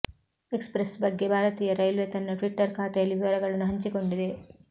X press ಬಗ್ಗೆ ಭಾರತೀಯ railway ತನ್ನ ಟ್ವಿಟ್ಟರ್ ಖಾತೆಯಲ್ಲಿ ವಿವರಗಳನ್ನು ಹಂಚಿಕೊಂಡಿದೆ